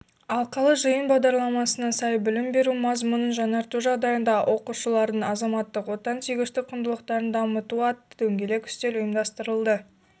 алқалы жиын бағдарламасына сай білім беру мазмұнын жаңарту жағдайында оқушылардың азаматтық-отансүйгіштік құндылықтарын дамытуатты дөңгелек үстел ұйымдастырылды